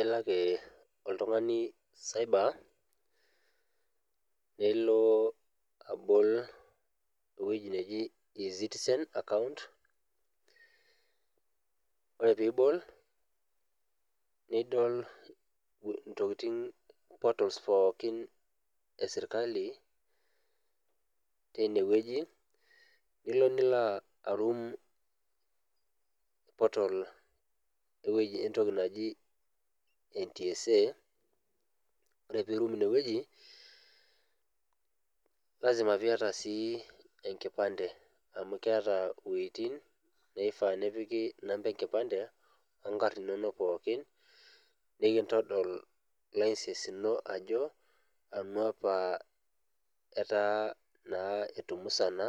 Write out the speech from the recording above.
Elakee oltung'ani cyber neloo abol ewueji neji e-citizen akaunt. Ore piibol nidol intokitin portals pookin esirkali teinewueji elo niloaarum  portal ewueji entoki naji ntsa, ore piirum inewueji, lazima piiata sii enkipande amu keata iwueitin naifaa nepiki enkipande onkarn inonok pookin nikintodol  license ino ajo anu apaa etaa naa etumusana